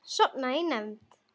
Sofnaði í nefnd.